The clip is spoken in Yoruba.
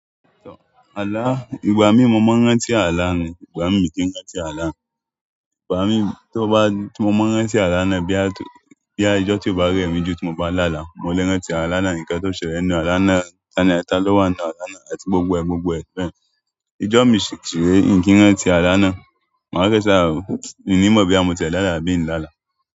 Àlá, ìgbà mí mo máa n rántí àlá mi, ìgbà mi mi ì kì n rántí àlá mi, ìgbà mí tí mo ma rántí àlá náà bóyá bóyá ijọ́ tí ò bá rẹ̀ mí jù tí mo bá lá'àlá mo le rántí àlà náà, ǹkan tó ṣẹlẹ̀ nínú àlá náà, tani àti tani ó wà nínú àlá náà, àti gbogbo ẹ̀ gbogbo ẹ̀ bẹ́yẹn ijọ mi ṣì rẹ̀é mi ì kí n rántí àlá náà, màá fẹ́ ṣá, mi ò ní mọ̀ bóyá mo ti ẹ̀ lála àbí nlálà.